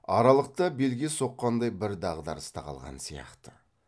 аралықта белге соққандай бір дағдарыста қалған сияқты